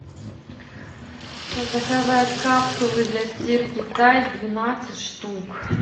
заказать капсулы для стирки тайд двенадцать штук